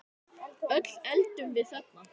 Öll endum við þarna.